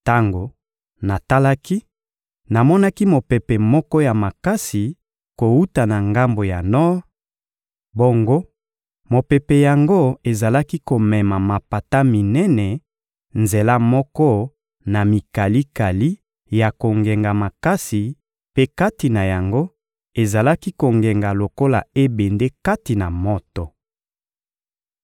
Tango natalaki, namonaki mopepe moko ya makasi kowuta na ngambo ya nor; bongo mopepe yango ezalaki komema mapata minene nzela moko na mikalikali ya kongenga makasi, mpe kati na yango ezalaki kongenga lokola ebende kati na moto.